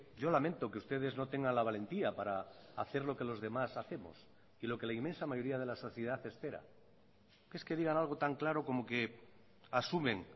yo lamento que ustedes no tengan la valentía para hacer lo que los demás hacemos y lo que la inmensa mayoría de la sociedad espera es que digan algo tan claro como que asumen